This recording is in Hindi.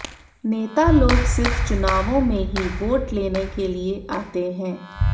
नेता लोग सिर्फ चुनावों में ही वोट लेने के लिए आते हैं